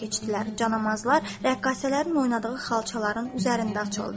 Canamazlar rəqqasələrin oynadığı xalçaların üzərində açıldı.